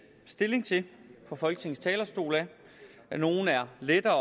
stilling til fra folketingets talerstol nogle er lettere